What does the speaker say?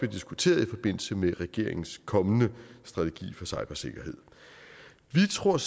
diskuteret i forbindelse med regeringens kommende strategi for cybersikkerhed vi tror